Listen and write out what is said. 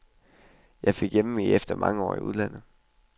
Jeg fik hjemve efter mange år i udlandet.